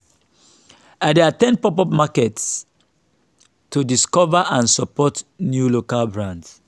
i dey at ten d pop-up markets to discover and support new local brands.